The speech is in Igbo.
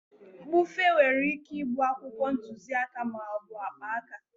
Mbufe nwere ike ịbụ akwụkwọ ntuziaka ma ọ bụ akpaaka.